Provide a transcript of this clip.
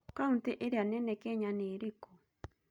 Kaũntĩ ĩrĩa nene Kenya nĩ ĩrĩkũ?